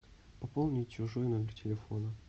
пополнить чужой номер телефона